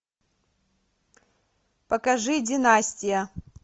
покажи династия